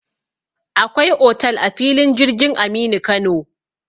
Akwai otal a filin jirgin Aminu Kano.